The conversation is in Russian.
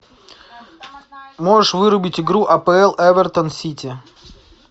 можешь вырубить игру апл эвертон сити